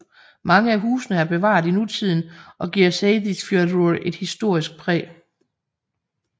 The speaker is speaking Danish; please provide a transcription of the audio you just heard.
Mange af husene er bevaret i nutiden og giver Seyðisfjörður et historisk præg